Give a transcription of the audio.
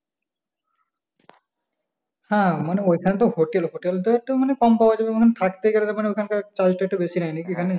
হ্যাঁ মানে ওইখানে তো hotel hotel টা একটা মানে কম পাওয়া যাবে মানে থাকতে গেলে ওখান টার charge টা একটু বেশি নেয় নাকি ওখানে?